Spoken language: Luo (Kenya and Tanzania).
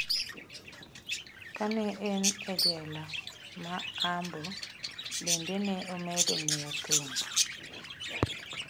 Ka ne en e jela ma Ambo, bende ne omedo ng’eyo thum.